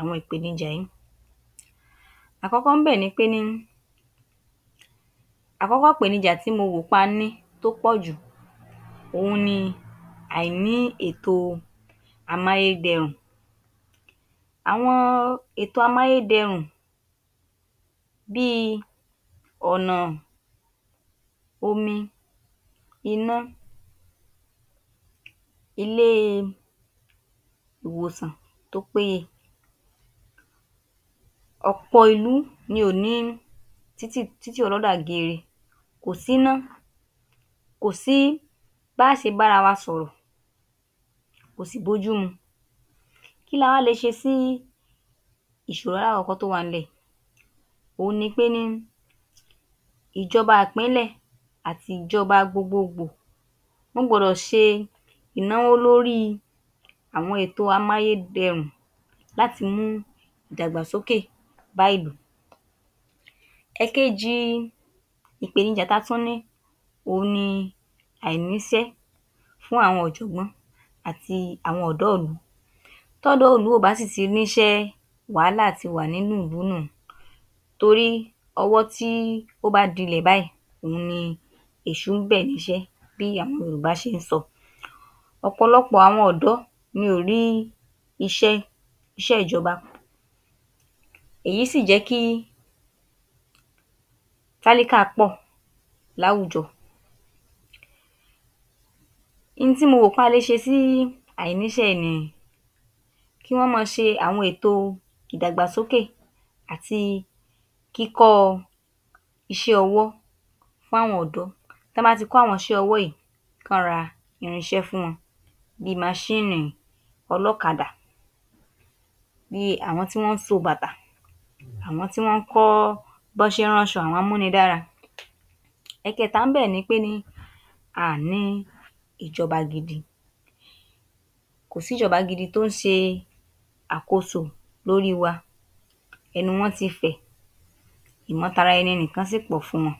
àwọn ìpènijà yìí. Àkọ́kọ́ ńbẹ̀ ni pé ní àkọ́kọ́ ìpènijà tí mo wò pé a mí tó pọ̀ jù òun ni àìní ètò amáyédẹrùn. Àwọn ètò amáyédẹrùn bí i ọ̀nà omi, iná, ilé-ìwòsàn tó péye. ọ̀pọ̀ ìlú ni ò ní títì títì ọlọ́dà geere kò si’ná, kò sí bá á ṣe bá’ra wa sọ̀rọ̀ kò sì bójú mu. Kí la wá le ṣe sí ìṣòro alákọ̀ọ́kọ́ tó wà ńlẹ̀? Òun ni pé ní ìjọba ìpínlẹ̀ àti ìjọba gbogboogbò wọ́n gbọdọ̀ ṣe ìnáwó lórí àwọn ètò amáyédẹrùn láti mú ìdàgbàsókè bá ìlú. ẹ̀kejì ìpènijà ta tún ní òun ni àìníṣẹ́ fún àwọn ọ̀jọ̀gbọ́n àti àwọn ọ̀dọ́ ìlú t’ọ́dọ́ ìlú ò bá sì ti níṣẹ́ wàhálà ti wà nínú ìlú nù u torí ọwọ́ tí oh bá dilẹ̀ báyìí òun ni èṣù ń bẹ̀ níṣẹ́ bí àwọn yorùbá ṣe ń sọ. ọ̀pọ̀lọpọ̀ àwọn ọ̀dọ́ ni ò rí iṣẹ́ iṣẹ́ ìjọba, èyí sì jẹ́ kí tálíkà pọ̀ láwùjọ. Oun tí mo rò wí pé a le ṣe sí àìníṣé yìí ni kí wọ́n máa ṣe àwọn ètò ìdàgbàsókè àti kíkọ iṣẹ́ ọwọ́ fún àwọn ọ̀dọ́, tí wọ́n bá ti kọ́ àwọn iṣẹ́ ọwọ́ yìí ká ra irinṣẹ́ fún wọn bí i maṣíìnì ọlọ́kadà, bi àwọn tí wọ́n ń so bàtà, àwọn tí wọ́n ń kọ́ bí wọ́n ṣe ń rán’ṣọ àwọn amúnidára. ẹkẹta ńbẹ̀ ni pé a ò ní ìjọba gidi, kò sí ìjọba gidi tó ń ṣe àkóso lórí wa, ẹnu wọ́n ti fẹ̀, ìmọtaraẹni nìkan sì pọ̀ fún wọn